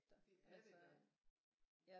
Det er det da